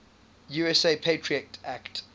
usa patriot act